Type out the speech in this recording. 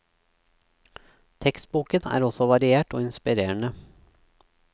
Tekstboken er også variert og inspirerende.